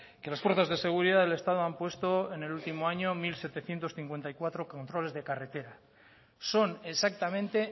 que las fuerzas de seguridad del estado han puesto en el último año mil setecientos cincuenta y cuatro controles de carretera son exactamente